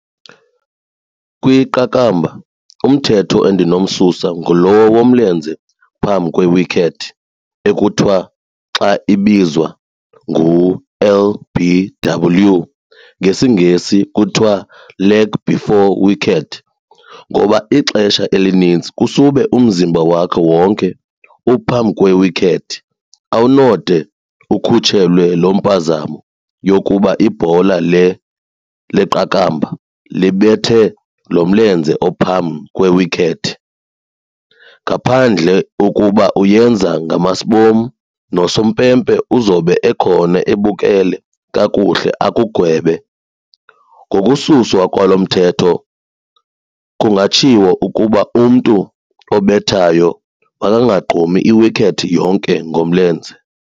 Kwiqakamba umthetho endinowususa ngulo womlenze phambi kwe-wicket ekuthiwa xa ibizwa ngu-L_B_W ngesiNgesi kuthiwa leg before wicket, ngoba ixesha elinintsi usube umzimba wakhe wonke uphambi kwe-wicket. Awunode ukhutshelwe loo mpazamo yokuba ibhola leqakamba libethe lo mlenze ophambi kwe-wicket ngaphandle ukuba uyenza ngamasbom nosumpempe uzobe ekhona ebukele kakuhle akugwebe. Ngokususwa kwalo mthetho kungatshiwo ukuba umntu obethayo makangagqumi i-wicket yonke ngomlenze.